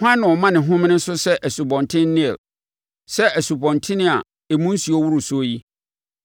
“Hwan, na ɔma ne homene so sɛ Asubɔnten Nil, sɛ nsubɔntene a emu nsuo woro soɔ yi?